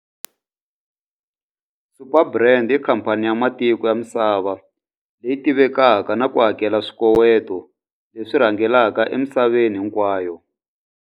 Superbrands i khamphani ya matiko ya misava leyi tivekaka na ku hakela swikoweto leswi rhangelaka emisaveni hinkwayo.